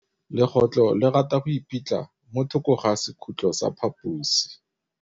Legôtlô le rata go iphitlha mo thokô ga sekhutlo sa phaposi.